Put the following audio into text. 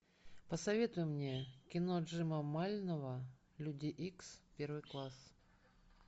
посоветуй мне кино джима мальнова люди икс первый класс